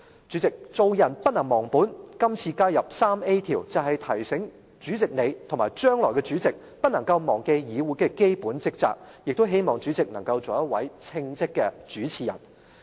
主席，做人不能忘本，這次加入第 3A 條，就是要提醒主席你，以及將來的主席，不能夠忘記議會的基本職責，亦希望主席能夠做一位稱職的主持人。